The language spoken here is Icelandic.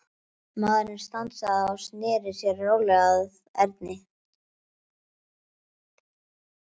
Maðurinn stansaði og sneri sér rólega að Erni.